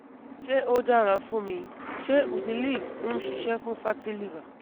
Ṣe o dara fun mi? Ṣe Udiliv n ṣiṣẹ fun fatty liver?